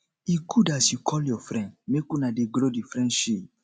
e good as you call your friend make una dey grow di friendship